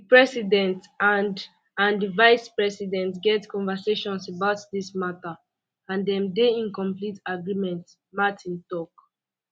di president and and di vicepresident get conversations about dis matter and dem dey um in complete agreement martin tok